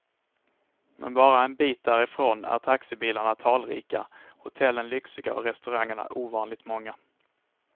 Men bara en bit därifrån är taxibilarna talrika, hotellen lyxiga och restaurangerna ovanligt många.